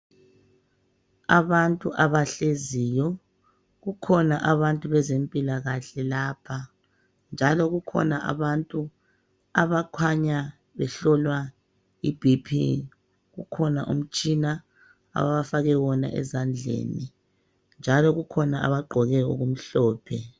Abantu abahleziyo, kukhona abantu bezempilakahle lapha njalo kukhona abantu abakhanya behlolwa i"BP".Kukhona umtshina abafake wona ezandleni, njalo kukhona abagqoke okumhlophe.